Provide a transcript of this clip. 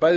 bæði